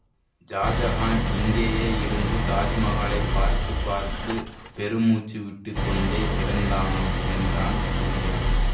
ஷாஜஹான் இங்கேயே இருந்து தாஜ்மகாலை பார்த்து பார்த்து பெருமூச்சு விட்டுக்கொண்டே இறந்தானாம் என்றான் சூரியா